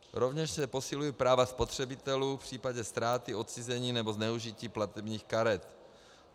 Rovněž se posilují práva spotřebitelů v případě ztráty, odcizení, nebo zneužití platebních karet.